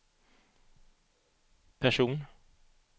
person